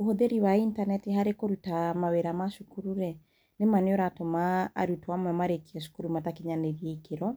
Ũhuthĩri wa intaneti harĩ kũruta mawĩra ma cukuru rĩ, nĩma nĩmaratũma arutwo amwe marĩkie cukuru matakinyĩrie gĩkĩro